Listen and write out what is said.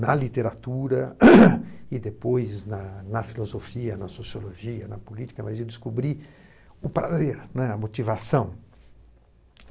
na literatura e depois na filosofia, na sociologia, na política, mas eu descobri o prazer, né, a motivação.